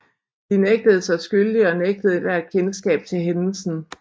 De nægtede sig skyldige og nægtede ethvert kendskab til hændelsen